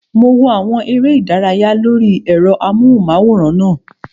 Mo wo àwọn eré ìdárayá lórí ẹ̀rọ amóhùnmáwòrán náà